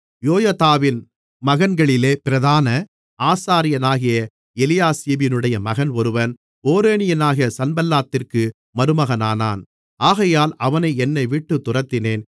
யொயதாவின் மகன்களிலே பிரதான ஆசாரியனாகிய எலியாசிபினுடைய மகன் ஒருவன் ஓரோனியனான சன்பல்லாத்திற்கு மருமகனானான் ஆகையால் அவனை என்னைவிட்டுத் துரத்தினேன்